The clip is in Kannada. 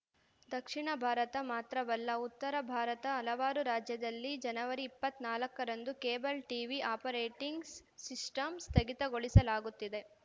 ದಕ್ಷಿಣ ಭಾರತ ಮಾತ್ರವಲ್ಲ ಉತ್ತರ ಭಾರತ ಹಲವಾರು ರಾಜ್ಯದಲ್ಲಿ ಜನವರಿ ಇಪ್ಪತ್ತ್ ನಾಲ್ಕರಂದು ಕೇಬಲ್‌ ಟೀವಿ ಆಪರೇಟಿಂಗ್ಸ್ ಸಿಸ್ಟಂ ಸ್ಥಗಿತಗೊಳಿಸಲಾಗುತ್ತಿದೆ